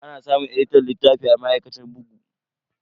Ana samun editan littafi a ma'aikatar bugu.